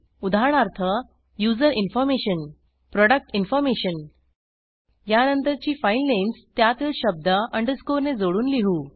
उदाहरणार्थ user information product information यानंतरची file names त्यातील शब्द अंडरस्कोर ने जोडून लिहू